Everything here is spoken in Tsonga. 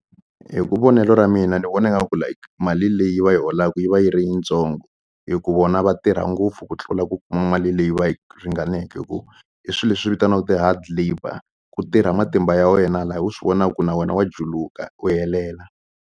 Hi ku vonelo ra mina ni vona nga ku like mali leyi va yi holaka yi va yi ri yitsongo hi ku vona va tirha ngopfu ku tlula ku kuma mali leyi va yi ringaneke ku i swilo leswi vitaniwaku ti-hard labour ku tirha matimba ya wena la u swi vona ku na wena wa juluka u helela.